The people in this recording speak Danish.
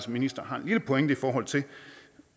ministeren har en lille pointe i forhold til